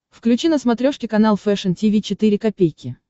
включи на смотрешке канал фэшн ти ви четыре ка